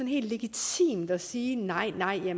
helt legitimt at sige nej nej